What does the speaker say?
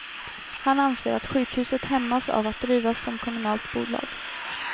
Han anser att sjukhuset hämmas av att drivas som kommunalt bolag.